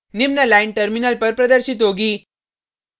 निम्न line terminal पर प्रदर्शित होगी